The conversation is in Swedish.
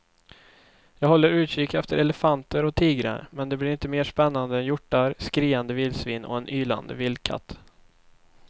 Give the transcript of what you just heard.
Jag håller utkik efter elefanter och tigrar men det blir inte mer spännande än hjortar, skriande vildsvin och en ylande vildkatt.